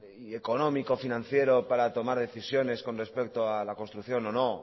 y económico financiero para tomar decisiones con respecto a la construcción o no